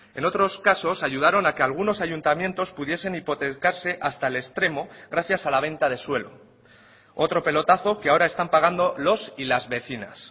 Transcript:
en otros casos ayudaron a que algunos ayuntamientos pudiesen hipotecarse hasta el extremo gracias a la venta de suelo otro pelotazo que ahora están pagando los y las vecinas